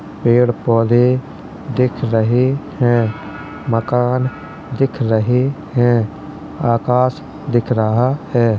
पेड़ पौधे दिख रहे हैं। मकान दिख रहे हैं। आकाश दिख रहा है।